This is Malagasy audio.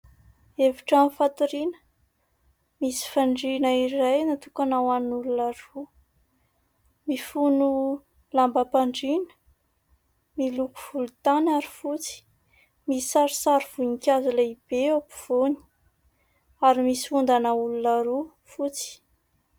Efitrano fatoriana, misy fandriana iray natokana ho an'olona roa. Mifono lambam-pandriana miloko volontany ary fotsy. Misy sarisary voninkazo lehibe eo afovoany, ary misy ondana olona roa fotsy.